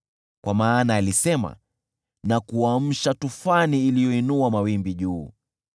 Kwa maana alisema na kuamsha tufani iliyoinua mawimbi juu.